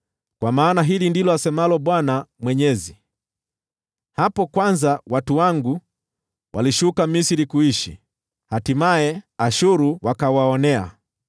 Kwa maana hili ndilo asemalo Bwana Mwenyezi: “Hapo kwanza watu wangu walishuka Misri kuishi, hatimaye, Ashuru wakawaonea.